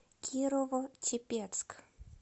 кирово чепецк